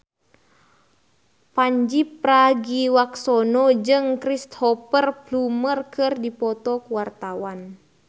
Pandji Pragiwaksono jeung Cristhoper Plumer keur dipoto ku wartawan